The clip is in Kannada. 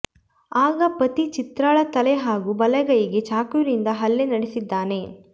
ಆಗ ಪತಿ ಚಿತ್ರಾಳ ತಲೆ ಹಾಗೂ ಬಲಗೈಗೆ ಚಾಕುವಿನಿಂದ ಹಲ್ಲೆ ನಡೆಸಿದ್ದಾನೆ